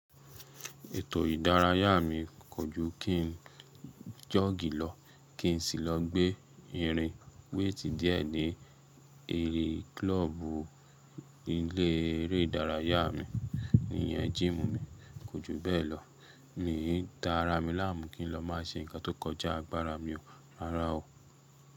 Ètò ìdárayá mi kò ju kí n jọ́ọ̀gì lọ, kí n sì lọ gbé irin wéètì díẹ̀ ní eré kílọ́ọ̀bù ilé eré ìdárayá mi, ìyẹn jíìmù mi, kò jù bẹ́ẹ̀ lọ. Míì í da ara mi láàmú kí n lọ má ṣe nǹkan tó kọjá agbára mi o, rárá o.